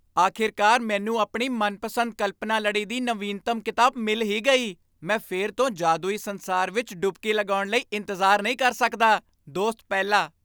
ਆਖਿਰਕਾਰ ਮੈਨੂੰ ਆਪਣੀ ਮਨਪਸੰਦ ਕਲਪਨਾ ਲੜੀ ਦੀ ਨਵੀਨਤਮ ਕਿਤਾਬ ਮਿਲ ਹੀ ਗਈ ਮੈਂ ਫਿਰ ਤੋਂ ਜਾਦੂਈ ਸੰਸਾਰ ਵਿੱਚ ਡੁੱਬਕੀ ਲਗਾਉਣ ਲਈ ਇੰਤਜ਼ਾਰ ਨਹੀਂ ਕਰ ਸਕਦਾ! ਦੋਸਤ ਪਹਿਲਾ